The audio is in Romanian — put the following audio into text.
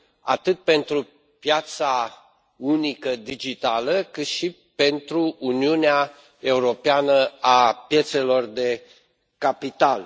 atât pentru piața unică digitală cât și pentru Uniunea Europeană a piețelor de capital.